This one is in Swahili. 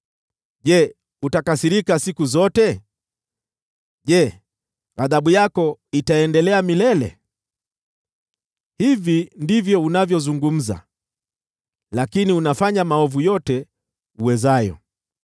je, utakasirika siku zote? Je, ghadhabu yako itaendelea milele?’ Hivi ndivyo unavyozungumza, lakini unafanya maovu yote uwezayo.”